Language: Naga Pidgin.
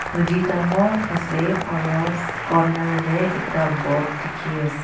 noti dangor ase aro corner de ekta boat diki ase.